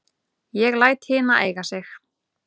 Ég læt hina eiga sig.